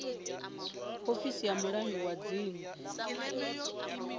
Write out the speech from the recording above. ofisi ya mulangi wa dzingu